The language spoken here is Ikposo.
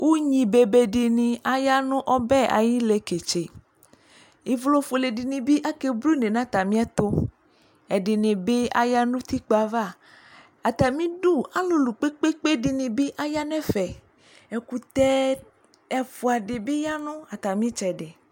Unyi bebe de ne ayɔ no ɔbɛ aye leketseIvlɔ fuele de ne be ake blune na atame ɛtoƐde ne be aya no utikpa avaArame du alulu kpekpe de ne aya nɛfɛ Ɛkutɛ ɛfua de be ya no atame tsɛde